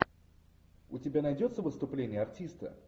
у тебя найдется выступление артиста